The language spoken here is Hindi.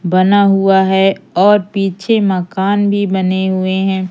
बना हुआ है और पीछे मकान भी बने हुए हैं।